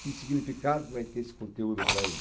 Que significado vai ter esse conteúdo para ele?